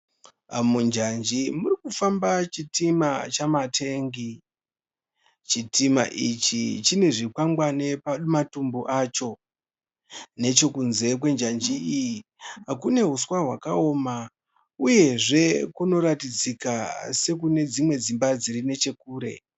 Munjanji muri kufamba chitima chamatengi. Chitima ichi chine zvikwangwani pama tumbu acho. Nechekunze kwenjanji iyi kune huswa hwakaoma uyezve kunoratidzika sekune dzimwe dzimba dziri nechekure.